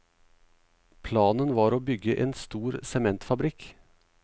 Planen var å bygge en stor sementfabrikk.